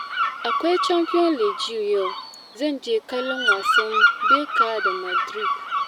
Akwai Champion's League yau, zan je kallon wasan Berca da Madrid.